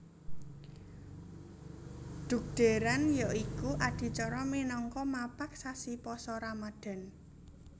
Dhugdhèran ya iku adicara minangka mapag sasi Pasa Ramadhan